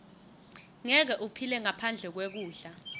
ngeke uphile ngaphandle kwekudla